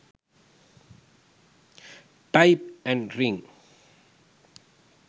type an ring